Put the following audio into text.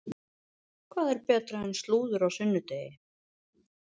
Hvað er betra en slúður á sunnudegi?